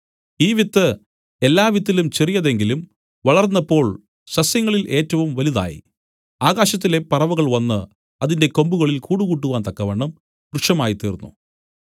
ഈ വിത്ത് അത് എല്ലാവിത്തിലും ചെറിയതെങ്കിലും വളർന്നപ്പോൾ സസ്യങ്ങളിൽ ഏറ്റവും വലുതായി ആകാശത്തിലെ പറവകൾ വന്നു അതിന്റെ കൊമ്പുകളിൽ കൂട് കൂട്ടുവാൻ തക്കവണ്ണം വൃക്ഷമായി തീരുന്നു